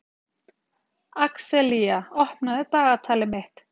Axelía, opnaðu dagatalið mitt.